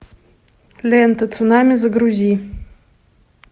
лента цунами загрузи